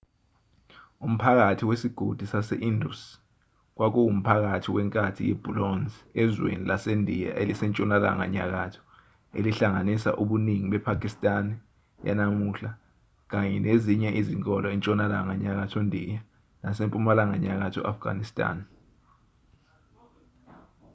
umphakathi wesigodi sase-indus kwakuwumphakathi wenkathi yebhulonze ezweni lasendiya elisentshonalanga nyakatho elihlanganisa ubuningi bepakistan yanamuhla kanye nezinye izinkolo entshonalanga nyakatho ndiya nasempumalanga nyakatho afghanistan